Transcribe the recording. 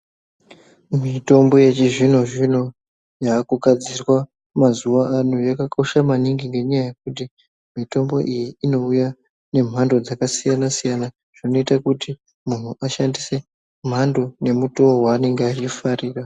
Mitombo yechizvino zvino yakugadzirwa mazuwano yakakosha maningi ngenyaya yekuti mitombo iyi inouya nemhando dzakasiyana siyana zvinoita kuti munhu ashandise mhando nemutowo waanenge achifarira.